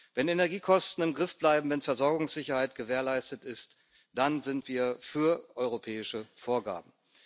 Wenn Energiekosten im Griff bleiben, wenn Versorgungssicherheit gewährleistet ist, dann sind wir für europäische Vorgaben.